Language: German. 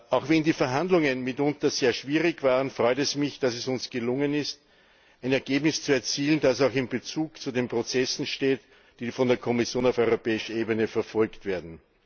Auch wenn die Verhandlungen mitunter sehr schwierig waren, freut es mich, dass es uns gelungen ist, ein Ergebnis zu erzielen, das auch in Bezug zu den Prozessen steht, die von der Kommission auf europäischer Ebene verfolgt werden.